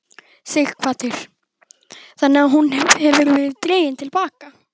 Sighvatur: Þannig að hún hefur verið dregin til baka?